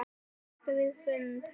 Hætt við fund?